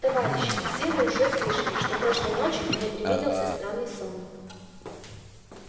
товарищи все вы уже слышали что прошлой ночью мне привиделся странный сон